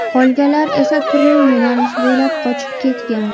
Qolganlar esa turli yo‘nalish bo‘ylab qochib ketgan.